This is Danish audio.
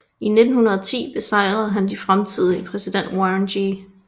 I 1910 besejrede han den fremtidige præsident Warren G